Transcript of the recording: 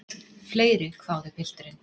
Fleiri, hváði pilturinn.